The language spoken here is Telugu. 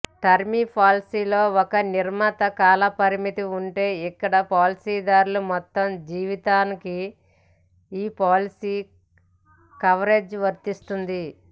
టర్మ్ పాలసీల్లో ఒక నిర్ణీత కాలపరిమితి ఉంటే ఇక్కడ పాలసీదారు మొత్తం జీవితానికి ఈ పాలసీ కవరేజీ వర్తిస్తుంది